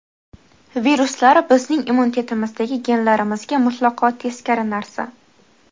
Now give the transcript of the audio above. Viruslar bizning immunitetimizdagi genlarimizga mutlaqo teskari narsa.